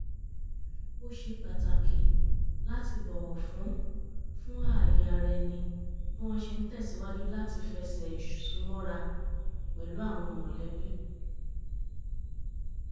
ó ṣe pàtàkì láti bọ̀wọ̀ fún fún ààye ara ẹni bí wọ́n ṣe ń tẹ̀sìwájú láti fẹsẹ̀ ìsúmọ́ra pẹ̀lú àwọn mọ̀lẹ́bí